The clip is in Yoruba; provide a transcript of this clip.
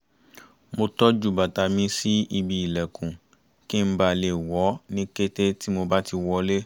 mo tọ́jú bàtà mi sí ibi ìlẹ̀kùn kí n bà le wọ̀ ọ́ ní kété tí mo bá ti wọlé